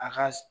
A ka